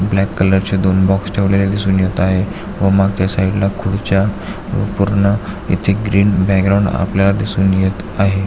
Black colour चे दोन box ठेवलेलें दिसून येत आहे व मागच्या साइडला खुर्च्या व पूर्ण इथे ग्रीन बॅकग्राऊंड आपल्याला दिसून येत आहे.